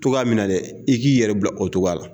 To k'a minɛ dɛ i k'i yɛrɛ bila o cogoya la